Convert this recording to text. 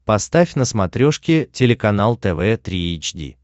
поставь на смотрешке телеканал тв три эйч ди